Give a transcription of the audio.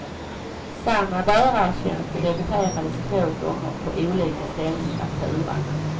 Samma bärartjänst debiterades två gånger på olika ställen i fakturan.